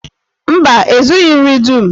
Mba, e zughi nri dum.